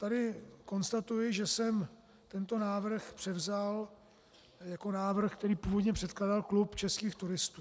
Tady konstatuji, že jsem tento návrh převzal jako návrh, který původně předkládal Klub českých turistů.